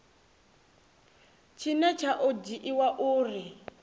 tshine tsha o dzhiiwa uri